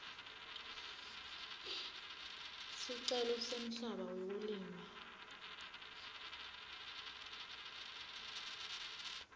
sicelo semhlaba wekulima